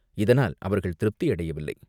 இதனால் அவர்கள் திருப்தி அடையவில்லை.